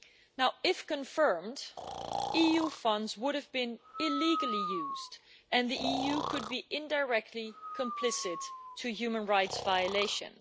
Now, if confirmed, EU funds would have been illegally used and the EU could be indirectly complicit in human rights violations.